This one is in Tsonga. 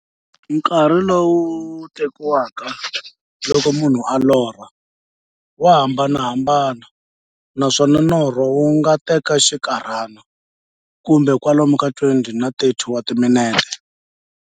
Nkarhi lowu tekiwaka loko munhu a lorha, wa hambanahambana, naswona norho wu nga teka xinkarhana, kumbe kwalomu ka 20-30 wa timinete.